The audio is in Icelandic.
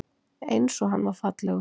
Einsog hann var fallegur.